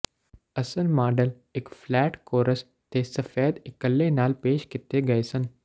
ਅਸਲ ਮਾਡਲ ਇੱਕ flat course ਤੇ ਸਫੈਦ ਇੱਕਲੇ ਨਾਲ ਪੇਸ਼ ਕੀਤੇ ਗਏ ਸਨ